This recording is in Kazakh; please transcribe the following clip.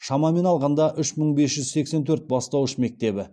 шамамен алғанда үш мың бес жүз сексен төрт бастауыш мектебі